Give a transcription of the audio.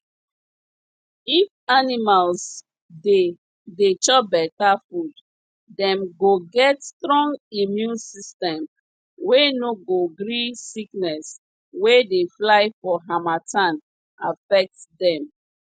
if animals dey dey chop beta food dem go get strong immune system wey no go gree sickness wey dey fly for harmattan affect dem